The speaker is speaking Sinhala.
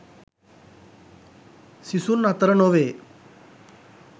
සිසුන් අතර නොවේ.